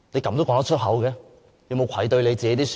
他會否感到愧對自己的選民？